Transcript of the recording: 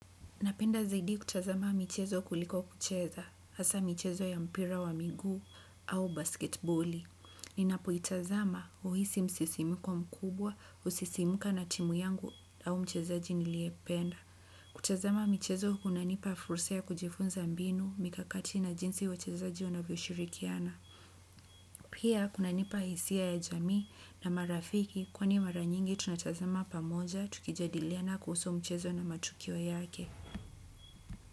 Napenda zaidi kutazama michezo kuliko kucheza, hasa michezo ya mpira wa miguu au basketboli. Ninapoitazama huhisi msisimuko mkubwa, husisimuka na timu yangu au mchezaji niliyempenda. Kutazama michezo kunanipa fursa ya kujifunza mbinu, mikakati na jinsi wachezaji wanavyoshirikiana. Pia kunanipa hisia ya jamii na marafiki kwani mara nyingi tunatazama pamoja tukijadiliana kuhusu mchezo na matukio yake.